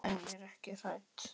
En ég er ekki hrædd.